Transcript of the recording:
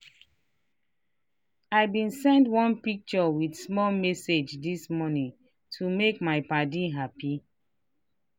i been send one picture with small message this morning to make my padi happy.